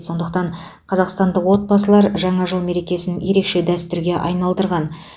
сондықтан қазақстандық отбасылар жаңа жыл мерекесін ерекше дәстүрге айналдырған